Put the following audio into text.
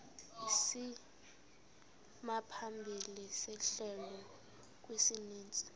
isimaphambili sehlelo kwisininzi